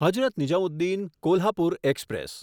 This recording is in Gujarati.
હઝરત નિઝામુદ્દીન કોલ્હાપુર એક્સપ્રેસ